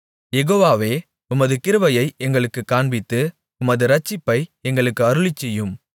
யெகோவாவே உமது கிருபையை எங்களுக்குக் காண்பித்து உமது இரட்சிப்பை எங்களுக்கு அருளிச்செய்யும்